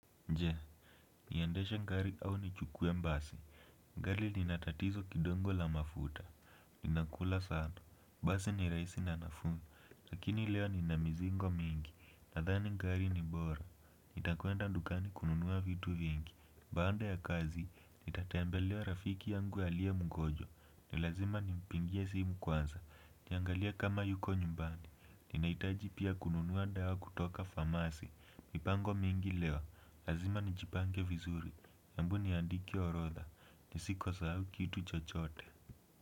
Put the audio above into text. Nje, niendesha ngari au nichukue mbasi. Ngari lina tatizo kidongo la mafuta. Linakula sana. Basi ni raisi na nafuu. Lakini leo nina mizigo mingi. Nadhani ngari ni bora. Nitakuenda ndukani kununua vitu vingi. Baanda ya kazi, nitatembelea rafiki yangu aliye mgojwa. Ni lazima nimpingie simu kwanza. Niangalie kama yuko nyumbani. Ninaitaji pia kununua ndawa kutoka famasi. Mipango mingi leo. Lazima nijipange vizuri, embuni niandike orodha, nisiko sahau kitu chochote.